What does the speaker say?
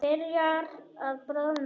Byrjar að bráðna.